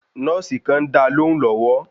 Nọ́ọ̀sì kàn ń dáa lóhùún lọ́wọ́.